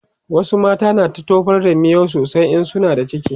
wasu mata na da tofar da miyau sosai in suna da ciki